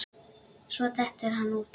Svo dettur hann út.